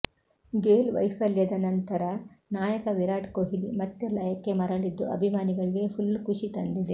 ಗೇಲ್ ವೈಫಲ್ಯದ ನಂತರ ನಾಯಕ ವಿರಾಟ್ ಕೊಹ್ಲಿ ಮತ್ತೆ ಲಯಕ್ಕೆ ಮರಳಿದ್ದು ಅಭಿಮಾನಿಗಳಿಗೆ ಫುಲ್ ಖುಷಿ ತಂದಿದೆ